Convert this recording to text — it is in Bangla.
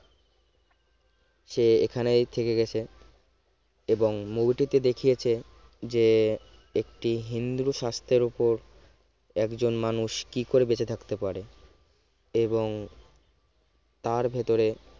সে এখানেই থেকে গেছো এবং movie টি তে দেখিয়েছে যে একটি হিন্দু শাস্ত্রের ওপর একজন মানুষ কি করে বেঁচে থাকতে পারে এবং তার ভিতরে